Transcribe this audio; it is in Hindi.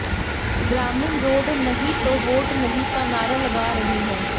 ग्रामीण रोड नहीं तो वोट नहीं का नारा लगा रहे हैं